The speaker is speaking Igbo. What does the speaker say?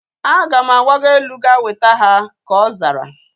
Aga m agbago elu ga weta ha, ka ọ zara